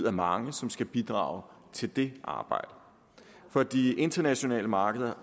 af mange som skal bidrage til det arbejde for de internationale markeder